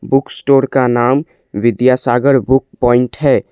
Book store का नाम Vidyasagar book point है।